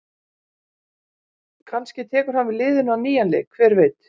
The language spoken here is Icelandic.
Kannski tekur hann við liðinu á nýjan leik, hver veit?